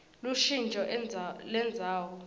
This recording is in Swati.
lushintjo lendzawo